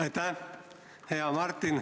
Aitäh, hea Helir!